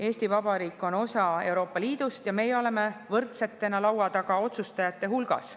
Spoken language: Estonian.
Eesti Vabariik on osa Euroopa Liidust ja meie oleme võrdsetena laua taga otsustajate hulgas.